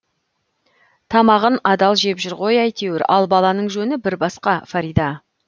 тамағын адал жеп жүр ғой әйтеуір ал баланың жөні бір басқа фарида